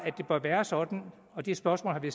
det bør være sådan og det spørgsmål har vi